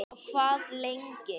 Og hvað lengi?